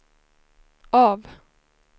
av